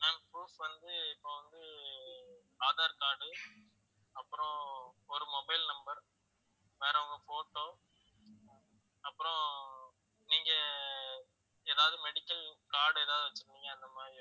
ma'am proof வந்து இப்போ வந்து aadhar card உ அப்புறம் ஒரு mobile number வேற உங்க photo அப்புறம் நீங்க ஏதாவது medical card எதாவது வச்சிருந்தீங்க அந்த மாதிரி